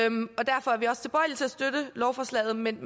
støtte lovforslaget men